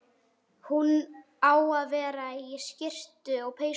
Hún á að vera í skyrtum og peysum.